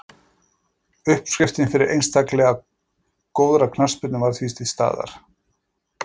Uppskriftin fyrir einstaklega góðri knattspyrnu var því til staðar.